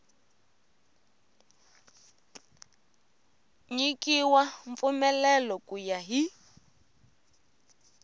nyikiwa mpfumelelo ku ya hi